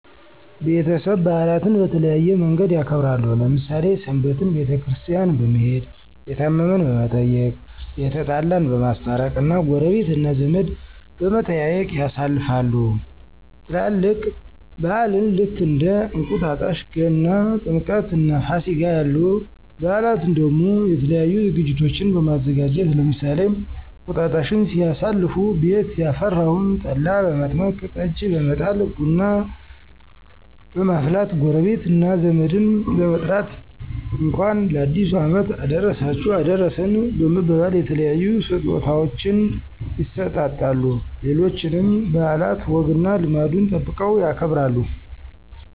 ቤተሰብ በአላትን በተለያየ መንገድ ያከብራሉ። ለምሳሌ ሰንበትን ቤተክርስቲያን በመሄድ፣ የታመመን በመየቅ፣ የተጣላን በማስታረቅ እና ጎረቤት እና ዘመድ በመጠያየቅ ያሳልፋሉ። ትላልቅ በአላን ልክ እንደ እንቁጣጣሽ ገና፣ ጥምቀትእና ፋሲጋ ያሉ በአላትን ደሞ የተለያዩ ዝግጅቶችን በማዘጋጀት ለምሳሌ እንቅጣጣሽን ሲያሳልፉ ቤት ያፈራውን ጠላ በመጥመቅ፣ ጠጅ በመጣል፣ ቡና በመፍላት ጎረቤት እና ዘመድን በመጥራት እንኳን ለአዲሱ አመት አደረሳችሁ አደረሰን በመባባል የተለያዩ ስጦታወችን ይሰጣጣሉ። ሌሎችንም በአላት ወግና ልማዱን ጠብቀው ያከብራሉ።